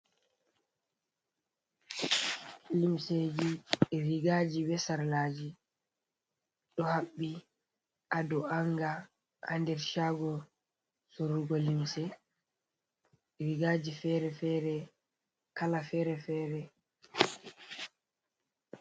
Limseji, rigaji be sarlaji ɗo haɓɓi haa dow anga haa der shago soorugo limse. Rigaji feere-feere, kala feere-feere.